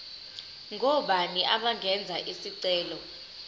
ngobani abangenza isicelo